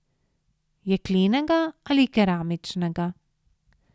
Jeklenega ali keramičnega?